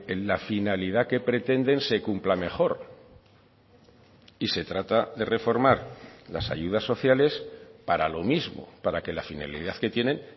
en la finalidad que pretenden se cumpla mejor y se trata de reformar las ayudas sociales para lo mismo para que la finalidad que tienen